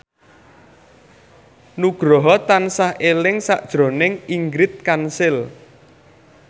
Nugroho tansah eling sakjroning Ingrid Kansil